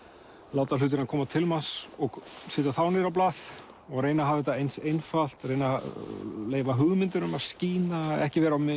láta hlutina koma til manns og setja þá niður á blað og reyna að hafa þetta eins einfalt og reyna að leyfa hugmyndunum að skína ekki vera með